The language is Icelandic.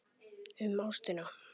Um ástina.